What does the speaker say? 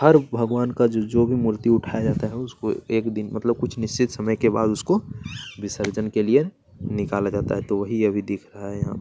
हर भगवान का जो जो भी मूर्ति उठाया जाता है उसको एक दिन मतलब कुछ निश्चित समय के बाद उसको विसर्जन के लिए निकाला जाता है तो वही अभी दिख रहा है यहाँ --